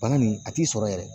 Bana nin a t'i sɔrɔ yɛrɛ